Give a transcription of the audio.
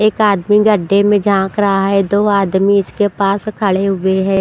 एक आदमी गड्ढे में झांक रहा है दो आदमी इसके पास खड़े हुए हैं।